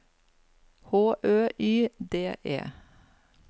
H Ø Y D E